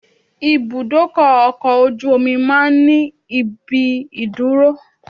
Ibùdó ọkọ̀ ojú omi máa ń ní ibi ìdúró